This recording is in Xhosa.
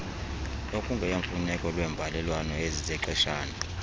okungeyomfuneko lweembalelwano ezizexeshana